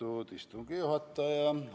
Lugupeetud istungi juhataja!